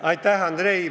Aitäh, Andrei!